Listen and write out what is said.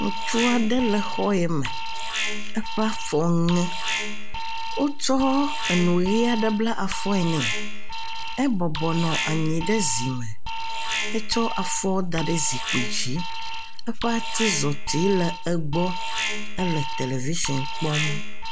Ŋutsu aɖe le xɔ ya me, eƒe afɔ ŋe. Wotsɔ eŋuʋi aɖe bla afɔe nɛ. Ebɔbɔ nɔ anyi ɖe zi me. Etsɔ afɔ da ɖe zikpui dzi. Eƒe atizɔti le egbɔ. Ele television kpɔm.